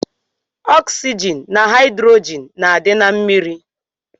Ọksygin na haidrogin na adi na mmiri.